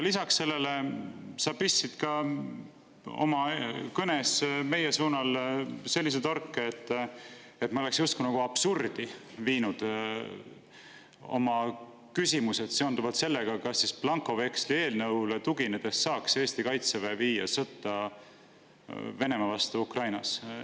Lisaks sellele pistsid sa oma kõnes meie suunal sellise torke, et ma oleksin justkui nagu absurdi viinud oma küsimused seoses sellega, kas siis blankoveksli eelnõule tuginedes saaks Eesti Kaitseväe viia sõtta Venemaa vastu Ukrainas.